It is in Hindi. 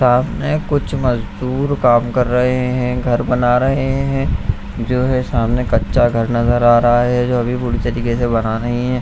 सामने कुछ मजदूर काम कर रहे हैं घर बना रहे हैं जो है सामने कच्चा घर नजर आ रहा है जो अभी पूरी तरह से बना नहीं है।